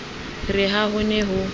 re ha ho ne ho